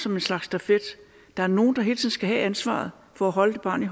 en slags stafet der er nogen der hele tiden skal have ansvaret for at holde barnet